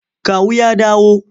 Kawu ya dawo?